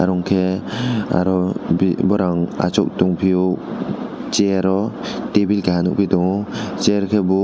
unke aro borong asok tang pio chairo tebil kaha nogoi tango chair ke bo.